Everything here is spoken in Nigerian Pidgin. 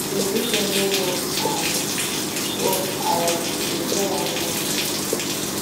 since dis one no work i work i go try another one